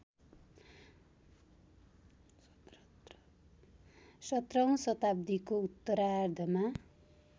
१७ औँ शताब्दिको उत्तरार्धमा